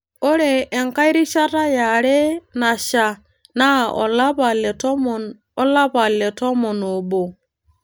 Ore enkae rishata yare nasha naa olapa le tomon o lapa le tomon oobo.